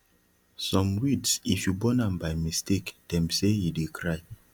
some weeds if you burn am by mistake dem say e dey cry